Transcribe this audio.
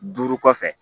Duuru kɔfɛ